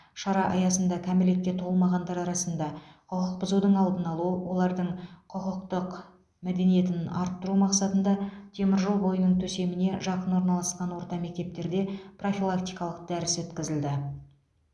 шара аясында кәмелетке толмағандар арасында құқық бұзудың алдын алу олардың құқықтық мәдениетін арттыру мақсатында теміржол бойының төсеміне жақын орналасқан орта мектептерде профилактикалық дәріс өткізілді